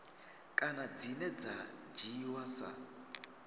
kana dzine dza dzhiiwa sa